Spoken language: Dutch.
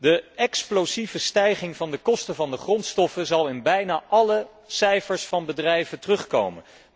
De explosieve stijging van de kosten van de grondstoffen zal in bijna alle cijfers van bedrijven terugkomen.